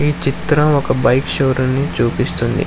ఈ చిత్రం ఒక బైక్ షోరూం చూపిస్తుంది.